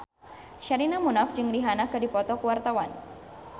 Sherina Munaf jeung Rihanna keur dipoto ku wartawan